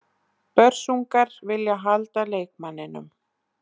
Börsungar vilja halda leikmanninum.